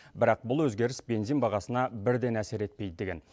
бірақ бұл өзгеріс бензин бағасына бірден әсер етпейді деген